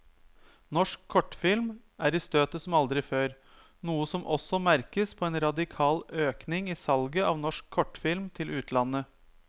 Norsk kortfilm er i støtet som aldri før, noe som også merkes på en radikal økning i salget av norsk kortfilm til utlandet.